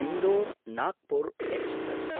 Indore Nagpur express